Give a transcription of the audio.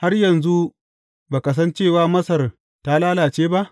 Har yanzu ba ka san cewa Masar ta lalace ba?